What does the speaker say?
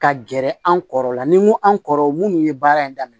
Ka gɛrɛ an kɔrɔ la ni mun an kɔrɔ munnu ye baara in daminɛ